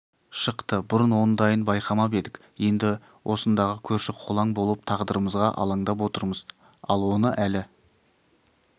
шықты бұрын ондайын байқамап едік енді осындағы көрші-қолаң болып тағдырымызға алаңдап отырмыз ал оны әлі